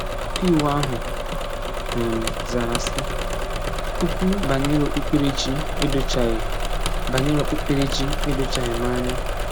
Ọkaiwu ahụ um zara sị: “Okwu banyere okpukperechi edochaghị banyere okpukperechi edochaghị m anya”